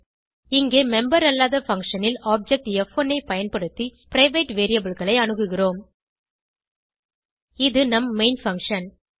இங்கே மெம்பர் அல்லாத பங்ஷன் ல் ஆப்ஜெக்ட் ப்1 ஐ பயன்படுத்தி பிரைவேட் variableகளை அணுகுகிறோம் இது நம் மெயின் பங்ஷன்